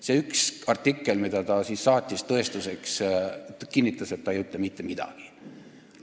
See üks artikkel, mille ta meile tõestuseks saatis, kinnitab, et ta ei ütle mitte midagi.